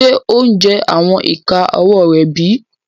Ṣe o jẹ awọn ika ọwọ rẹ bi?